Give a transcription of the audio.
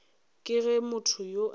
ke ge motho yo a